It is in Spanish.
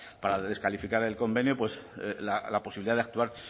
para descalificar el convenio la posibilidad de actuar